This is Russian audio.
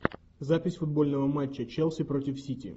запись футбольного матча челси против сити